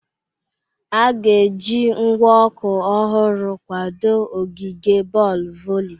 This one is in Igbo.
A ga-eji ngwa ọkụ ọhụrụ kwadoo ogige boolu voli.